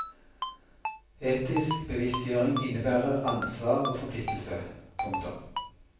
Etisk bevisstgjøring innebærer ansvar og forpliktelse. punktum